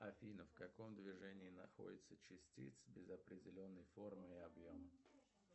афина в каком движении находятся частицы без определенной формы и объема